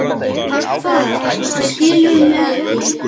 Hvað, skilurðu mig ekki?